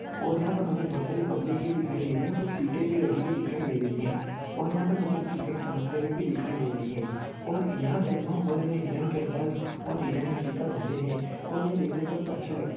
और यहाँ पर मुझे बहुतसारी पब्लिक भी दिखाई दे रही है कुछ भी लगाई दिखाई दे रही है और यहाँ पर मुझे कुछ लाइट चमकते हुए भी दिखाई दे रहे है और यहाँ सिनेमा हॉल में हिडन कैमराज और हिडन इस्पीकर भी होते है और यह देखने पर अच्छे लगते --